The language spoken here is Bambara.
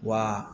Wa